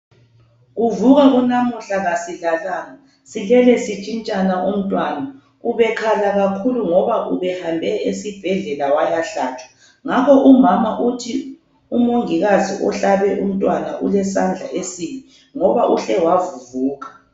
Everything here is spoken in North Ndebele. Kuvuka kunamuhla kasilalanga, silele sitshintshana umntwana. Ubekhala kakhulu ngoba ubehambe esibhedlela wayahlatshwa ngakho umama uthi umongikazi ohlabe umntwana ulesandla esibi ngoba uhle wavuvuka.